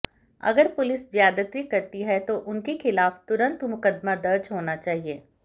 अगर पुलिस ज्यादती करती है तो उनके खिलाफ तुरंत मुकदमा दर्ज होना चाहिए